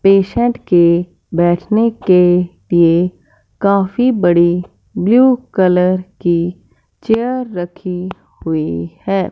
Patient के बैठने के लिए काफी बड़ी ब्ल्यू कलर की चेयर रखी हुई हैं।